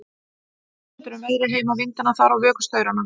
Tel mig vita betur um veðrið heima, vindana þar og vökustaurana.